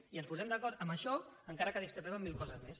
i ens posem d’acord en això encara que discrepem en mil coses més